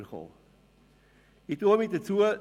Ich äussere mich nicht mehr dazu.